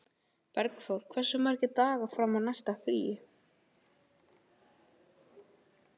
Bergþór, hversu margir dagar fram að næsta fríi?